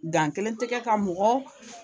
Gan kelen tɛgɛ ka mɔgɔ